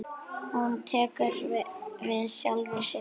Hún tekur við sjálfri sér.